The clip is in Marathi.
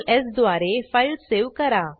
Ctrls द्वारे फाईल सेव्ह करा